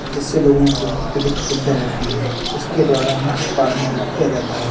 जिससे लोगों को अत्यधिक सुब्धा होती है। इसके द्वारा मच्छपालन भी किया जाता है।